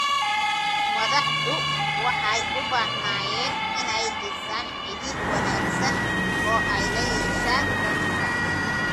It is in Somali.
Madaxdu waxay u baahnaayeen inay dhisaan xidhiidh wanaagsan oo ay la yeeshaan dadka.